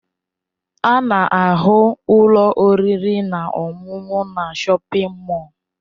A na-ahụ ụlọ oriri na ọṅụṅụ na shọpin mọll.